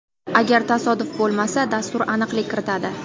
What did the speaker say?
Agar tasodif bo‘lsa, dastur aniqlik kiritadi.